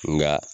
Nka